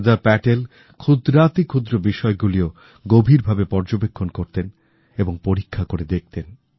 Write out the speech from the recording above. সর্দার প্যাটেলক্ষুদ্রাতিক্ষুদ্র বিষয়গুলিও গভীরভাবে পর্যবেক্ষণ করতেন এবং পরীক্ষাকরে দেখতেন